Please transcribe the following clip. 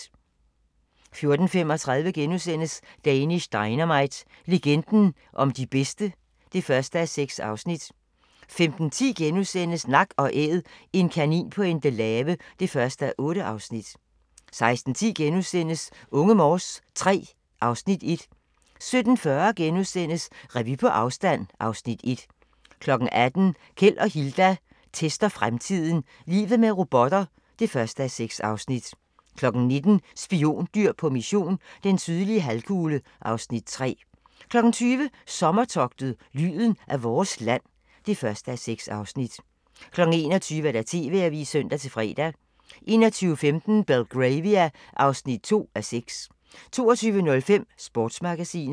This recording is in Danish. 14:35: Danish Dynamite - legenden om de bedste (1:6)* 15:10: Nak & Æd - en kanin på Endelave (1:8)* 16:10: Unge Morse III (Afs. 1)* 17:40: Revy på afstand (Afs. 1)* 18:00: Keld og Hilda tester fremtiden - Livet med robotter (1:6) 19:00: Spiondyr på mission - den sydlige halvkugle (Afs. 3) 20:00: Sommertogtet - lyden af vores land (1:6) 21:00: TV-avisen (søn-fre) 21:15: Belgravia (2:6) 22:05: Sportsmagasinet